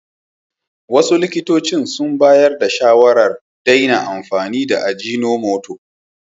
Wasu likitocin sun bayar da shawarar daina amfani da ajinomoto.